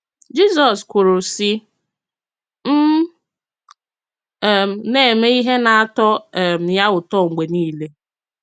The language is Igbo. Jizọs kwùrù, sị: “M um na-eme ihe nā-ató um ya ụtọ mgbe niile.”